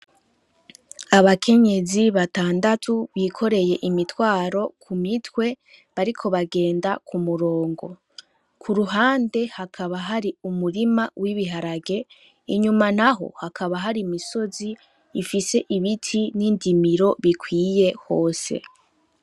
Abakenyezi batandatu bikoreye imitwaro ku mitwe, bariko bagenda ku murongo, ku ruhande hakaba hari umurima w'ibiharage, inyuma naho hakaba hari imisozi ifise ibiti n'indimiro bikwiye hose.